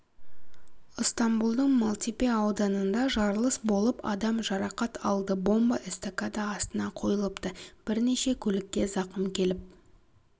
ыстамбұлдың малтепе ауданында жарылыс болып адам жарақат алды бомба эстакада астына қойылыпты бірнеше көлікке зақым келіп